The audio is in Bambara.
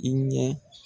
I ɲɛ